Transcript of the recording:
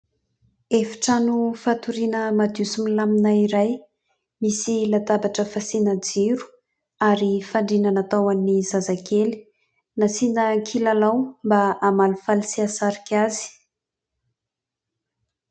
Efitrano fatoriana madio sy milamina iray misy latabatra fasiana jiro ary fandriana natao ho an'ny zazakely. Nasiana kilalao mba hamalifaly sy hahasarika azy.